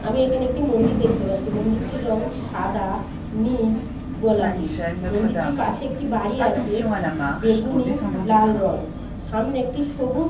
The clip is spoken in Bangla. আমি এখানে একটি মন্দির দেখতে পাচ্ছি। মন্দিরটির রঙ সাদা নীল গোলাপি। মন্দিরটির পাশে একটি বাড়ি আছে বেগুনি লাল রঙ। সামনে একটি সবুজ।